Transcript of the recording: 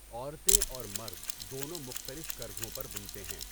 عورتیں اور مرد دونوں مختلف کرگھوں پر بُنتے ہیں۔